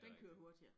Den kører hurtigere